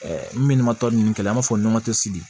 minnu tɔ ninnu kɛlɛ an b'a fɔ